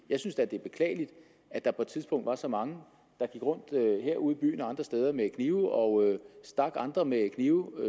jeg synes da det er beklageligt at der på et tidspunkt var så mange der gik rundt herude i byen og andre steder med knive og stak andre med knive